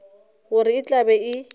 gore e tla be e